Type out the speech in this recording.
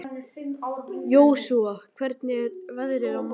Jósúa, hvernig er veðrið á morgun?